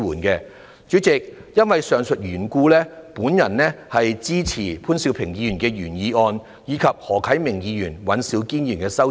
代理主席，基於上述原因，我支持潘兆平議員的原議案，以及何啟明議員及尹兆堅議員的修正案。